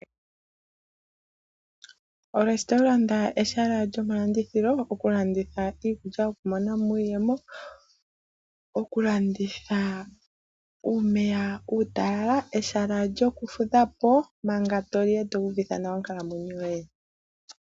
Olesitowulanda ehala lyoma landithilo oku landitha iikulya, okumonamo iiyemo. Oku landitha uumeya utalala, ehala lyoku fudhapo manga toli eto uvitha nawa onkalamwenyo yoye.